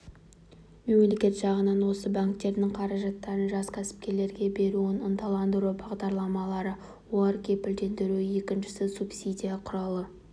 мемлекет жағынан осы банктердің қаражаттарын жас кәсіпкерлерге беруін ынталандыру бағдарламалары олар кепілдендіру екіншісі субсидия құралы